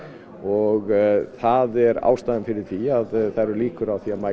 og það er ástæðan fyrir því að það eru líkur á að